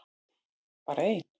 Bara ein!